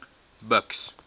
buks